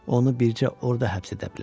Onu bircə orda həbs edə bilərəm.